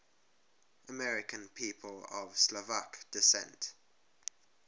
american people of slovak descent